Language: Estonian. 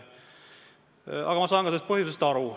Samas, ma saan ka põhjustest aru.